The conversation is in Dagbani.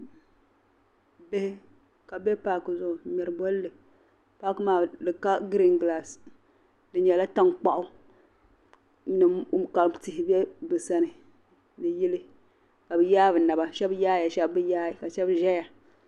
Bihi. kabi bɛ. paaki zuɣu n ŋmeri bolli. paaki maa, dika green grace. di nyɛla. tan kpaɣu. ka tihi bɛ bi sani ni yili. kabi. yaa. bi naba. shab yaaya. shab biyaai. ka shab zaya.